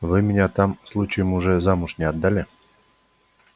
вы меня там случаем уже замуж не отдали